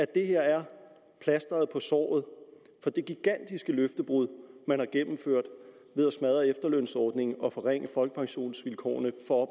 det her er plasteret på såret for det gigantiske løftebrud man har gennemført ved at smadre efterlønsordningen og forringe folkepensionsvilkårene for